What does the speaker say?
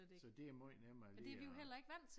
Så det måj nemmere lige og